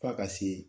F'a ka se